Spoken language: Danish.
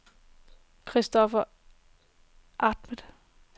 Kristoffer Ahmad